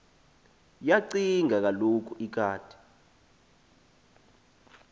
yacinga kaloku ikati